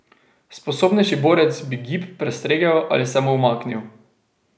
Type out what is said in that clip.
Sposobnejši borec bi gib prestregel ali se mu umaknil.